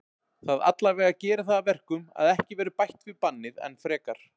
Það allavega gerir það að verkum að ekki verður bætt við bannið enn frekar.